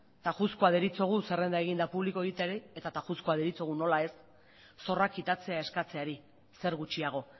tajuzkoa deritzogu zerrenda egin eta publiko egiteari eta tajuzkoa deritzogu nola ez zorrak kitatzea eskatzeari zer gutxiago